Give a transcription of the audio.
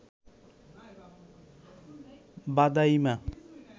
ভাদাইমা